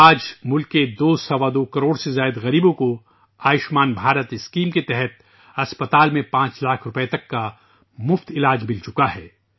آج ، ملک کے دو سوا دو کروڑ سے زیادہ غریبوں کو آیوشمان بھارت اسکیم کے تحت ہسپتال میں 5 لاکھ روپے تک کا مفت علاج مل چکا ہے